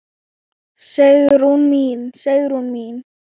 Sigrún mín, Sigrún mín.